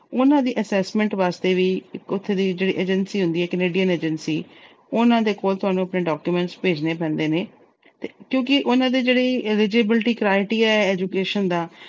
ਉਹਨਾਂ ਦੀ assessment ਵਾਸਤੇ ਵੀ, ਉਥੇ ਦੀ ਜਿਹੜੀ agency ਹੁੰਦੀ ਆ, Canadian agency ਉਹਨਾਂ ਦੇ ਕੋਲ ਤੁਹਾਨੂੰ ਆਪਣੇ documents ਭੇਜਣੇ ਪੈਂਦੇ ਨੇ ਕਿਉਂਕਿ ਉਹਨਾਂ ਦੀ ਜਿਹੜੀ eligibility criteria ਆ education ਦਾ